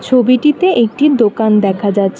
ছবিটিতে একটি দোকান দেখা যাচ্ছে।